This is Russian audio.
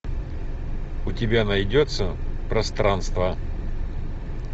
у тебя найдется пространство